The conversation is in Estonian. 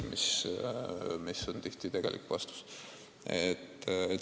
Nii ju tihti vastatakse.